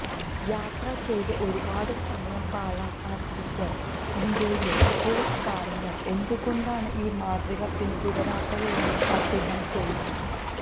യാത്ര ചെയ്ത് ഒരുപാട് സമയം പാഴാക്കാതിരിക്കാൻ ഇന്ത്യയിലെ സ്പോർട്സ് താരങ്ങൾ എന്ത് കൊണ്ടാണ് ഈ മാതൃക പിന്തുടരാത്തതെന്നും അദ്ദേഹം ചോദിച്ചു